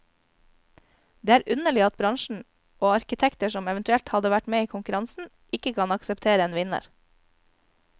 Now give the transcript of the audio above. Det er underlig at bransjen og arkitekter som eventuelt hadde vært med i konkurransen, ikke kan akseptere en vinner.